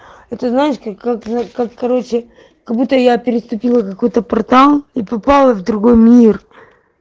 это знаешь как короче как будто я переступила какой-то портал и попала в другой мир